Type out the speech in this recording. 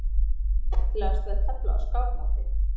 En hvað ætli sé skemmtilegast við að tefla á skákmóti?